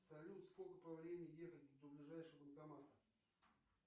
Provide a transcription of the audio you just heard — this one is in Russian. салют сколько по времени ехать до ближайшего банкомата